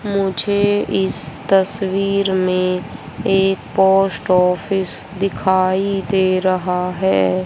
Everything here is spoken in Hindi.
मुझे इस तस्वीर में एक पोस्ट ऑफिस दिखाई दे रहा है।